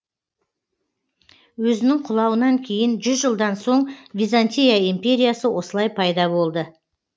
өзінің құлауынан кейін жүз жылдан соң византия империясы осылай пайда болды